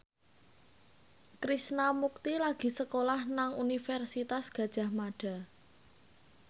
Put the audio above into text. Krishna Mukti lagi sekolah nang Universitas Gadjah Mada